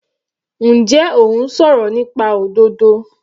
Njẹ́ ò ń sọ̀rọ̀ nípa òdodo?